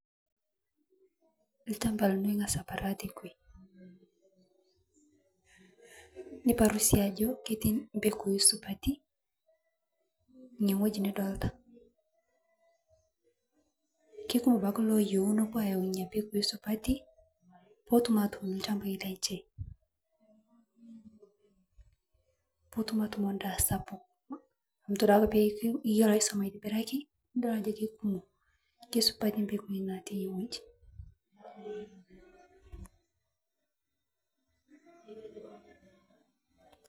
Olchamba lino Inga's aparru tene niparru sii ajo ketii mbegui supati inewueji nidolta kekumok ake ilooyieu nepuo aayau nena pekui supati pee etum aatuun ilchambai lenye pee etum endaa sapuk amu, esupati mbegui natii enewueji.